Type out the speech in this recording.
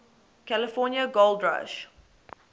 california gold rush